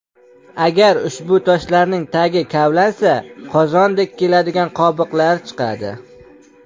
Agar ushbu toshlarning tagi kavlansa, qozondek keladigan qobiqlari chiqadi.